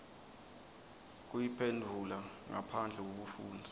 kuyiphendvula ngaphandle kwekufundza